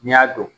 N'i y'a dɔn